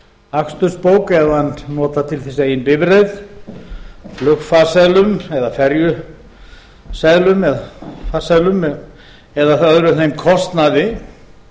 akstursbók ef hann notar til þess eigin bifreið flugfarseðla eða ferjuseðla eða farseðlum eða öðrum þeim kostnaði